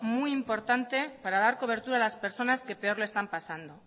muy importante para dar cobertura a las personas que peor lo están pasando